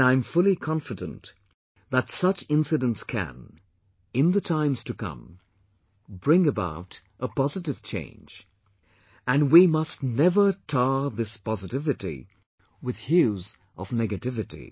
And I am fully confident that such incidents can, in the times to come, bring about a very positive change, and we must never tar this positivity with hues of negativity